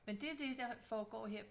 Men det er det der foregår her